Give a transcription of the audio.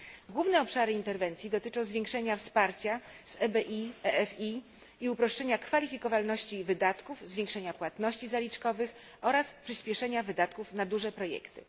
Główne obszary interwencji dotyczą zwiększenia wsparcia z EBI, EFI i uproszczenia kwalifikowalności wydatków, zwiększenia płatności zaliczkowych oraz przyspieszenia wydatków na duże projekty.